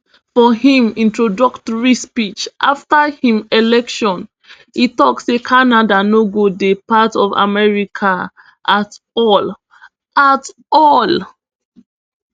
for im introductory speech afta im election e tok say canada no go dey part of america at all at all